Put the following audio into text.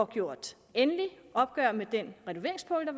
gjort endelig op med den renoveringspulje